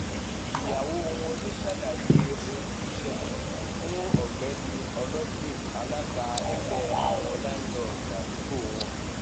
ìyàwó wọn um lóò ṣàlàyé ohun tó ṣẹlẹ fún um ọgbẹni ọlọgbìn alága ẹgbẹ àwọn láńlọọdù àdúgbò wọn